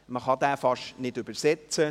Man kann ihn fast nicht übersetzen.